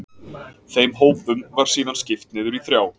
Þeim hópum var síðan skipt niður í þrjá.